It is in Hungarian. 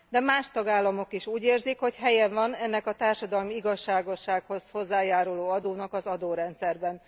De más tagállamok is úgy érzik, hogy helye van ennek a társadalmi igazságossághoz hozzájáruló adónak az adórendszerben.